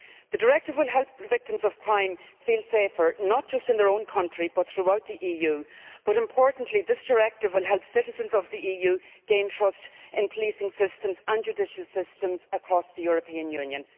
The directive will help victims of crime feel safer, not just in their own country but throughout the EU. Importantly, this directive will help citizens of the EU gain trust in policing systems and judicial systems across the European Union.